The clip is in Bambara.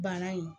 Bana in